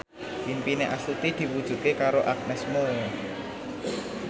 impine Astuti diwujudke karo Agnes Mo